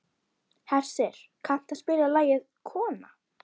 Hersir, kanntu að spila lagið „Kona“?